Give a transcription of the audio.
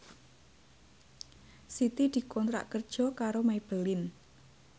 Siti dikontrak kerja karo Maybelline